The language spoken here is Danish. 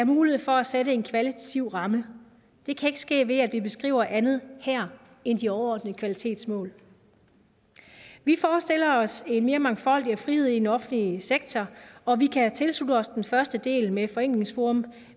mulighed for at sætte en kvalitativ ramme det kan ikke ske ved at vi beskriver andet her end de overordnede kvalitetsmål vi forestiller os mere mangfoldighed og frihed i den offentlige sektor og vi kan tilslutte os den første del med forenklingsforum